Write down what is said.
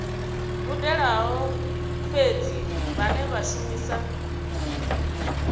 gudelaho fhedzi vhane vha shumisa